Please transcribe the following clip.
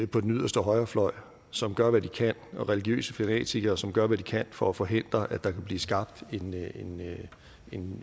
på den yderste højrefløj som gør hvad de kan og religiøse fanatikere som gør hvad de kan for at forhindre at der kan blive skabt en